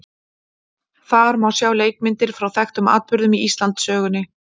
Þar má sjá leikmyndir frá þekktum atburðum í Íslandssögunni.